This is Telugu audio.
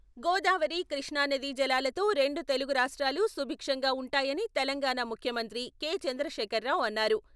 గోదావరి, కృష్ణానదీ జలాలతో రెండు తెలుగు రాష్ట్రాలు సుభిక్షంగా ఉంటాయని తెలంగాణ ముఖ్యమంత్రి కే.చంద్రశేఖర్ రావు అన్నారు.